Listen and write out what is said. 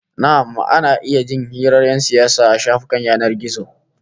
Na'am, ana iya jin hirar 'yan siyasa a shafukan yanar gizo